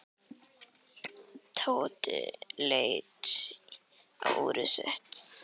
Tóti leit á úrið sitt.